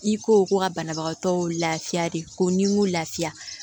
I ko ko ka banabagatɔ lafiya de ko n'i ko lafiya